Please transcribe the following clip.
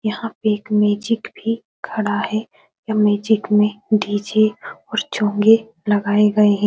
यहाँ पे एक मैजिक भी खड़ा है यह मैजिक में डी.जे. और चोंगे लगाए गए है।